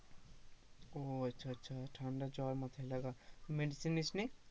ও আচ্ছা আচ্ছা ঠান্ডা জ্বর মাথায় লাগা medicine নিস নি,